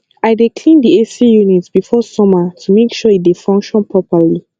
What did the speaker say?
i dey clean the ac unit before summer to make sure e dey function properly